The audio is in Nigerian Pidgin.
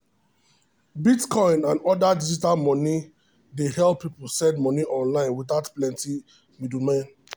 bitcoin and other digital money dey help people send money online without plenty middlemen.